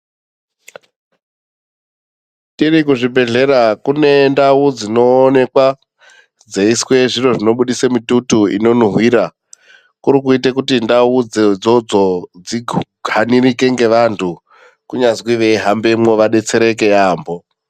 Tiri kuzvibhedhlera kune ndau dzinoonekwa dzeiiswe zviro zvinobudisa mututu unonhuhwira. Kuri kuite kuti ndau idzodzodzo dzihanirike ngeantu kunyazi veihambemwo vabetsereke yaambo.